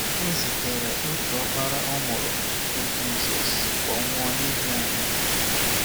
O zitere otu ọkpara ọ mụrụ, bụ Jizọs, ka ọ nwụọ n’ihi anyị.